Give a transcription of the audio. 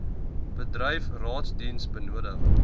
bedryf raadsdiens benodig